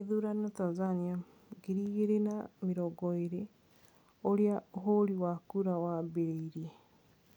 Githurano Tanzania 2020: ũria ũhũri wa kura waambiririe